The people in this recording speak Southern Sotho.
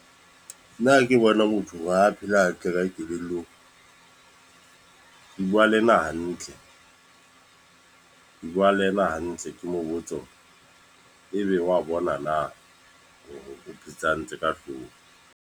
Nna ke bona motho wa ho phela hantle ka kelellong. Ke bua le ena hantle. Ke bua le ena hantle, ke mo botse hore ebe wa bona na hore o phetse hantle ka hlooho.